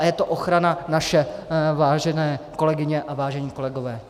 A je to ochrana naše, vážené kolegyně a vážení kolegové.